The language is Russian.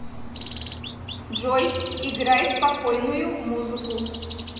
джой играй спокойную музыку